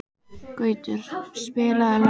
Gautur, spilaðu lag.